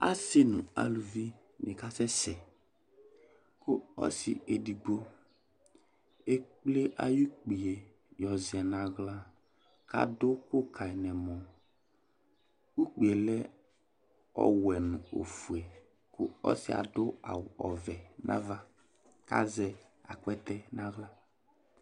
Asi nʋ aluvi ni kasɛsɛ kʋ ɔsi edigbo ekple ay'ukpi yɛ zɛ n'aɣla k'adʋ ʋkʋ kayi n'ɛmɔ Ukpi yɛ lɛ ɔwɛ nʋ ofue kʋ ɔsi yɛ adʋ awʋ ɔvɛ ava , k'azɛ akpɛtɛ n'aɣla